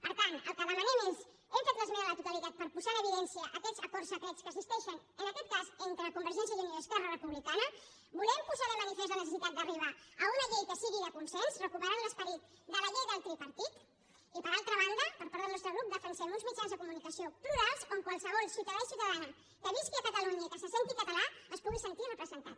per tant el que demanem és hem fet l’esmena a la totalitat per posar en evidència aquests acords secrets que existeixen en aquest cas entre convergència i unió i esquerra republicana volem posar de manifest la necessitat d’arribar a una llei que sigui de consens recuperant l’esperit de la llei del tripartit i per altra banda per part del nostre grup defensem uns mitjans de comunicació plurals on qualsevol ciutadà i ciutadana que visqui a catalunya i que se senti català es pugui sentir representat